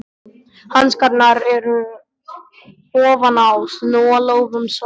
Hanskarnir eru ofan á, snúa lófum saman.